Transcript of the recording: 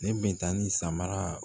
Ne bɛ taa ni samara